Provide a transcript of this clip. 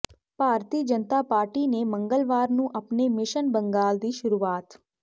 ਭਾਰਤੀ Janata party ਨੇ ਮੰਗਲਵਾਰ ਨੂੰ ਅਪਣੇ ਮਿਸ਼ਨ ਬੰਗਾਲ ਦੀ ਸ਼ੁਰੂਆਤ